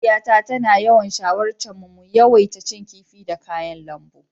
Mahaifiyata tana yawan shawarce mu mu yawaita cin kifi da kayan lambu.